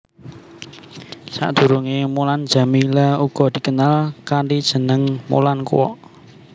Sadurungé Mulan Jameela uga dikenal kanthi jeneng Mulan Kwok